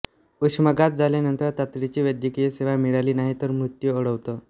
उष्माघात झाल्यानंतर तातडीची वैद्यकीय सेवा मिळाली नाहीतर मृत्यू ओढवतो